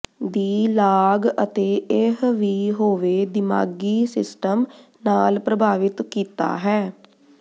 ਦੀ ਲਾਗ ਅਤੇ ਇਹ ਵੀ ਹੋਵੇ ਦਿਮਾਗੀ ਸਿਸਟਮ ਨਾਲ ਪ੍ਰਭਾਵਿਤ ਕੀਤਾ ਹੈ